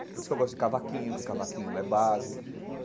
Por isso que eu gosto de cavaquinho, porque cavaquinho é base.